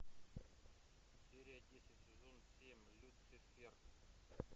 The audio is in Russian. серия десять сезон семь люцифер